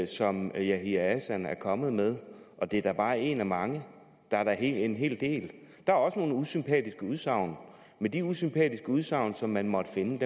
som yahya hassan er kommet med det er da bare en af mange der er da en hel del der er også nogle usympatiske udsagn men de usympatiske udsagn som man måtte finde